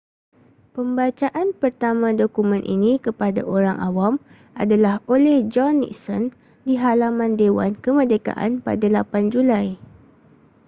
pembacaan pertama dokumen ini kepada orang awam adalah oleh john nixon di halaman dewan kemerdekaan pada 8 julai